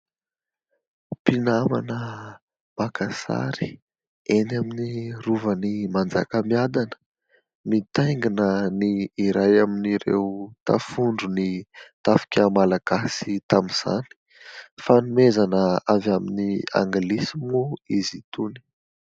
Mpinamana maka sary eny amin'ny rovan'ny Manjakamiadana mitaingina ny iray amin'ireo tafondron'ny tafika malagasy tamin'izany ; fanomezana avy amin'ny anglisy moa izy itony.